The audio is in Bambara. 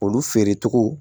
Olu feere cogo